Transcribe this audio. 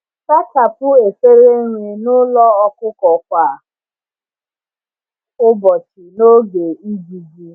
Sachapụ efere nri n'ụlọ ọkụkọ kwa ụbọchị n’oge ijiji.